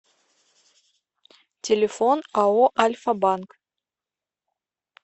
телефон ао альфа банк